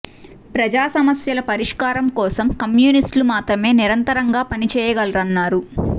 ప్రజా సమస్యల పరిష్కారం కోసం కమ్యూనిస్టులు మాత్రమే నిరంతరంగా పని చేయగలరన్నారు